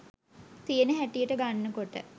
තියෙන හැටියට ගන්නකොට